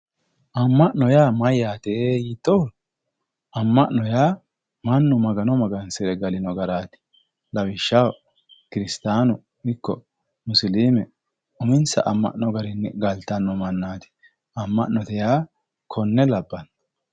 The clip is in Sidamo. ammanno yaa mayyate yiittoro amma'no yaa mannu magano magansire galino garaati lawishshaho kiristaanu ikko musilime uminsa amma'no garinni galtanno mannaati amma'note yaa konne labbanno.